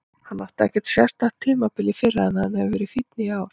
Hann átti ekkert sérstakt tímabil í fyrra en hann hefur verið fínn í ár.